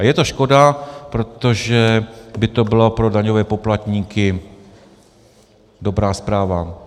A je to škoda, protože by to byla pro daňové poplatníky dobrá zpráva.